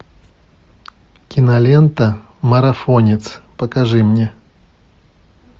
кинолента марафонец покажи мне